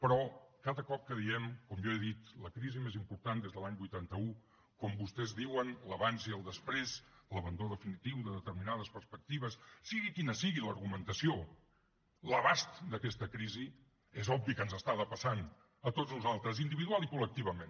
però cada cop que diem com jo he dit la crisi més important des de l’any vuitanta un com vostès diuen l’abans i el després l’abandó definitiu de determinades perspectives sigui quina sigui l’argumentació l’abast d’aquesta crisi és obvi que ens està depassant a tots nosaltres individualment i col·lectivament